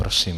Prosím.